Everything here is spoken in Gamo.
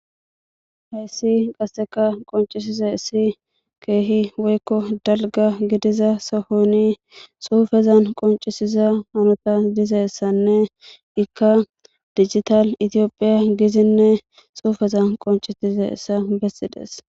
heyssi qasseka qoncisize issi keehi woykko dalga gidiza sohoni suufezan qoncisiza hanota dizeessanne ikka dijital itiopphiya gizinne suufezan qoncisizessa bessidees